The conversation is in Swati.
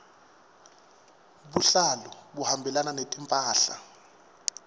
buhlalu buhambelana netimphahla